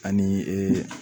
Ani